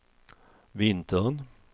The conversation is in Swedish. vintern